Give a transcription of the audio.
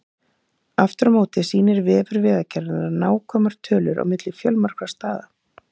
Aftur á móti sýnir vefur Vegagerðarinnar nákvæmar tölur á milli fjölmargra staða.